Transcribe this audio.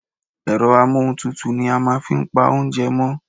Ẹ̀rọ amóhuntutù ni a màa fi n pa oúnjẹ mọ́